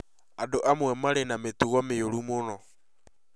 Andũ amwe marĩ na mĩtugo mĩũru mũno